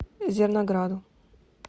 зернограду